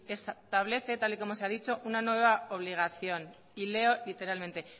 establece tal y como se ha dicho una nueva obligación y leo literalmente